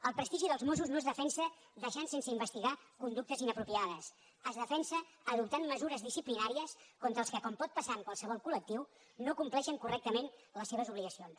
el prestigi dels mossos no es defensa deixant sense investigar conductes inapropiades es defensa adoptant mesures disciplinàries contra els que com pot passar en qualsevol col·lectiu no compleixen cor·rectament les seves obligacions